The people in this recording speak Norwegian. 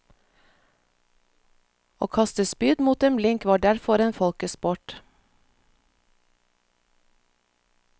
Å kaste spyd mot en blink var derfor en folkesport.